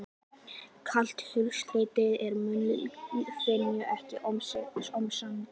Sjálft klausturheitið er munklífinu ekki ómissandi.